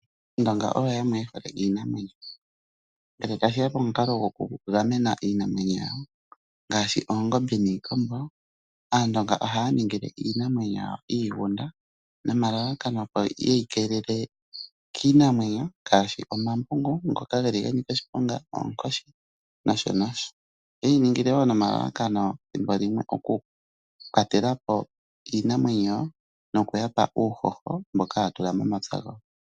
Aandonga oyo yamwe yehole iinamwenyo ngele tashiya pomukalo gokugamena iinamwenyo yawo ngaashi, oongombe niikombo, aandonga ohaya ningile iinamwenyo yawo iigunda nomalalakano opo yeyi keelele kiinamwenyo ngaashi ombambungu ngoka geli ganika oshiponga, oonkoshi nosho nosho. Ohaye yi ningile wo nomalalakano thimbolimwe okukwatela po iinamwenyo nokuyapa uuhoho mboka haya tula momapya gawo.